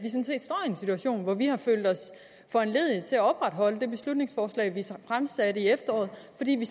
en situation hvor vi har følt os foranlediget til at opretholde det beslutningsforslag vi fremsatte i efteråret fordi vi